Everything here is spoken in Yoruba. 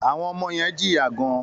Àwọn ọmọ yen jìyà gan